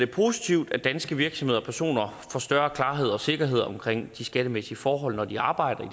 positivt at danske virksomheder og personer får større klarhed og sikkerhed omkring de skattemæssige forhold når de arbejder i